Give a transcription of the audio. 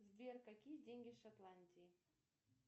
сбер какие деньги в шотландии